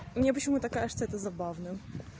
мне почему-то кажется это забавным